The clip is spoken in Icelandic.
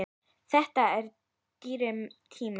Þetta er dýr tími.